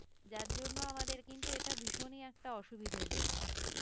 যার জন্য আমাদের কিন্তু এটা ভীষণই একটা অসুবিধের জায়গা